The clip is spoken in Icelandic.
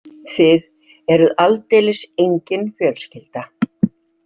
Þið eruð aldeilis engin fjölskylda.